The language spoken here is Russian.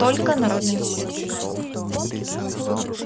только народными средствами